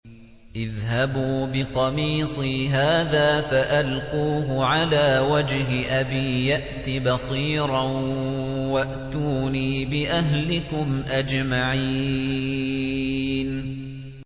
اذْهَبُوا بِقَمِيصِي هَٰذَا فَأَلْقُوهُ عَلَىٰ وَجْهِ أَبِي يَأْتِ بَصِيرًا وَأْتُونِي بِأَهْلِكُمْ أَجْمَعِينَ